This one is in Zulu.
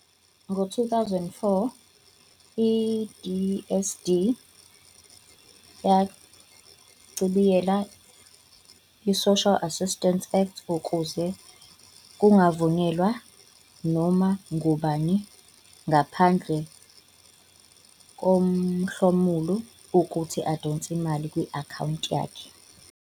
Ngo-2004, i-DSD yachibiyela iSocial Assistance Act ukuze kungavunyelwa noma ngubani ngaphandle komhlomuli ukuthi adonse imali kwi-akhawunti yakhe.